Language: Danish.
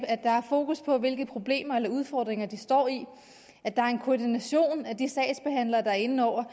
at der er fokus på hvilke problemer eller udfordringer de står i at der er en koordination af de sagsbehandlere der er inde over